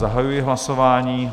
Zahajuji hlasování.